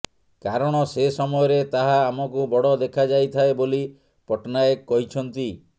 କାରଣ ସେ ସମୟରେ ତାହା ଆମକୁ ବଡ଼ ଦେଖାଯାଇଥାଏ ବୋଲି ପଟ୍ଟନାୟକ କହିଛନ୍ତି